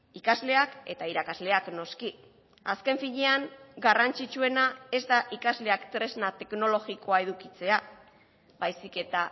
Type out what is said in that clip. ikasleak eta irakasleak noski azken finean garrantzitsuena ez da ikasleak tresna teknologikoa edukitzea baizik eta